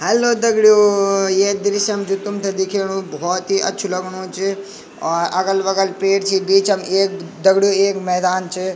हेल्लो दगड़ियों ये दृश्य म जू तुम्थे दिखेणु बहोत ही अच्छु लगणू च और अगल बगल पेड़ छि बीचम एक दगड़ियों एक मैदान च।